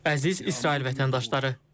Əziz İsrail vətəndaşları.